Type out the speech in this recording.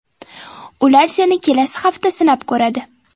Ular seni kelasi hafta sinab ko‘radi.